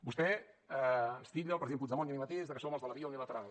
vostè ens titlla al president puigdemont i a mi mateix de que som els de la via unilateral